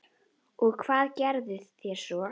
Og hvað gerðuð þér svo?